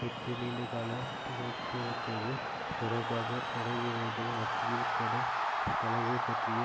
விட்டு நீண்டகாலம் பிரிந்திருப்பது தொடர்பாக படைவீரர்கள் மத்தியில் கடும் தளர்வு பற்றிய